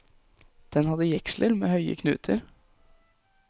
Den hadde jeksler med høye knuter.